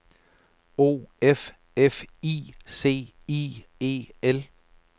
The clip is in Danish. O F F I C I E L